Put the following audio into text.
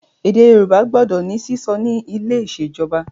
Èdè Yorùbá gbọdọ di sísọ ni ilé ìṣèjọba